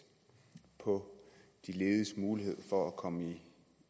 på de lediges mulighed for at komme